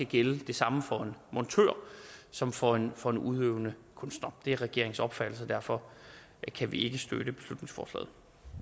gælde det samme for en montør som for en for en udøvende kunstner det er regeringens opfattelse og derfor kan vi ikke støtte beslutningsforslaget